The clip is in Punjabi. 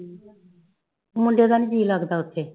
ਮੁੰਡੇ ਦਾ ਨੀ ਜੀ ਲੱਗਦਾ ਉੱਥੇ।